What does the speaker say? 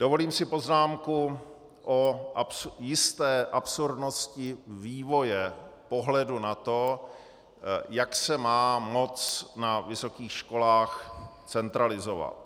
Dovolím si poznámku o jisté absurdnosti vývoje pohledu na to, jak se má moc na vysokých školách centralizovat.